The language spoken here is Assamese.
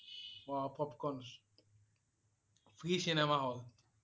O popcorn free cinema hall